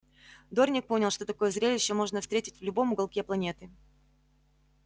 дорник понял что такое зрелище можно встретить в любом уголке планеты